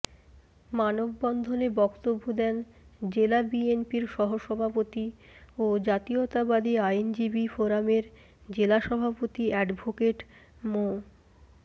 মানববন্ধনে বক্তব্য দেন জেলা বিএনপির সহসভাপতি ও জাতীয়তাবাদী আইনজীবী ফোরামের জেলা সভাপতি অ্যাডভোকেট মো